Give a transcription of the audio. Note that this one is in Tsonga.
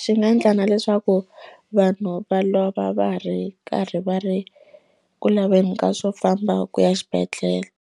swi nga ndla na leswaku vanhu va lova va ri karhi va ri ku laveni ka swo famba ku ya xibedhlele.